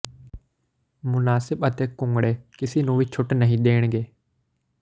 ਮੁਨਾਸਿਬ ਅਤੇ ਘੁੰਗਣੇ ਕਿਸੇ ਵੀ ਨੂੰ ਛੂਟ ਨਹੀਂ ਦੇਣਗੇ